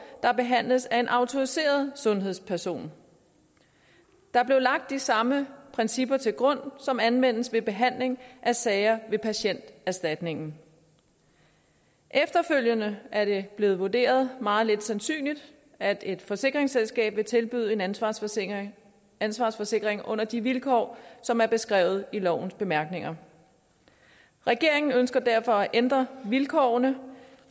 der behandles af en autoriseret sundhedsperson der blev lagt de samme principper til grund som anvendes ved behandling af sager ved patienterstatningen efterfølgende er det blevet vurderet meget lidt sandsynligt at et forsikringsselskab vil tilbyde en ansvarsforsikring ansvarsforsikring under de vilkår som er beskrevet i lovens bemærkninger regeringen ønsker derfor at ændre vilkårene